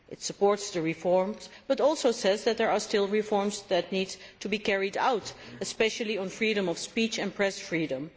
It supports the reforms but also says that there are still reforms that need to be carried out, especially on freedom of speech and press freedom.